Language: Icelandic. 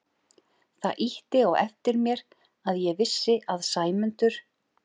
Það ýtti á eftir mér að ég vissi að Sæmundur